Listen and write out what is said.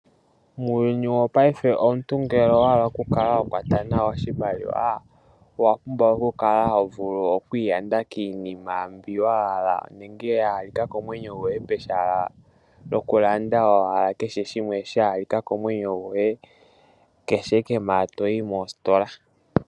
Muuyuni wopaife omuntu ngele owa hala oku kala ho kwata nawa oshimaliwa owa pumbwa oku kala ho vulu oku iyanda kiinima mbyoka ya halika komwenyo gwoye .